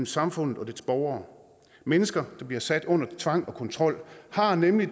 samfundet og dets borgere mennesker der bliver sat under tvang og kontrol har nemlig